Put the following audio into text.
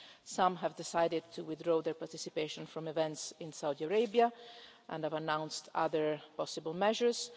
Some have decided to withdraw their participation from events in Saudi Arabia and have announced other possible measures.